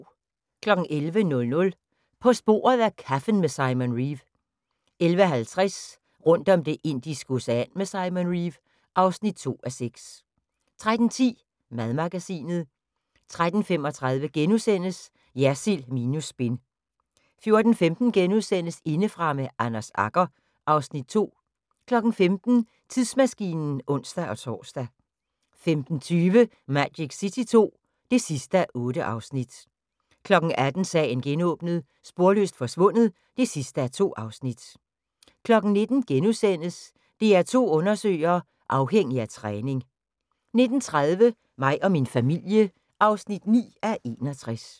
11:00: På sporet af kaffen med Simon Reeve 11:50: Rundt om Det indiske Ocean med Simon Reeve (2:6) 13:10: Madmagasinet 13:35: Jersild minus spin * 14:15: Indefra med Anders Agger (Afs. 2)* 15:00: Tidsmaskinen (ons-tor) 15:20: Magic City II (8:8) 18:00: Sagen genåbnet: Sporløst forsvundet (2:2) 19:00: DR2 Undersøger: Afhængig af træning * 19:30: Mig og min familie (9:61)